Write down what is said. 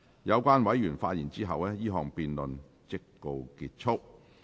有關委員發言後，這項辯論即告結束。